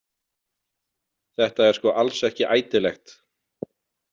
Þetta er sko alls ekki ætilegt!